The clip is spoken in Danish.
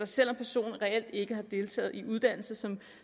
selv om personen reelt ikke har deltaget i en uddannelse som